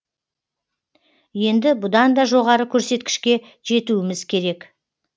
енді бұдан да жоғары көрсеткішке жетуіміз керек